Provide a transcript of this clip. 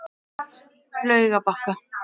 Laugarbakka